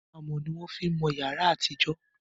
amò ní wọn fí mọ yàrá àti ìjọ